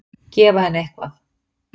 Gefa henni eitthvað.